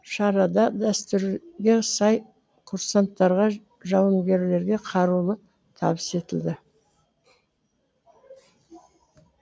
шарада дәстүрге сай курсанттарға жауынгерге қаруды табыс етілді